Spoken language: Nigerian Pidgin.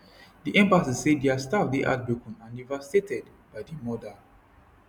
di embassy say dia staff dey heartbroken and devastated by di murder